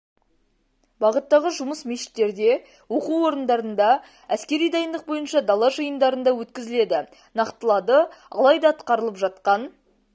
бағыттағы жұмыс мешіттерде оқу орындарында әскери дайындық бойынша дала жиындарында өткізіледі нақтылады алайда атқарылып жатқан